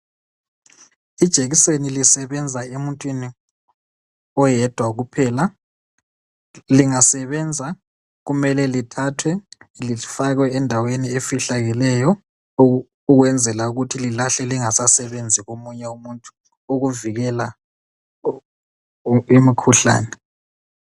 ilekiseni lisebenza emuntwini oyedwa kuphela lingasebenza kumele lithathwe lifakwe endaweni efihlakeleyo ukwenzela ukuthi lilahlwe lingasasebenzi komunye umuntu ukuvikela imikhuhlane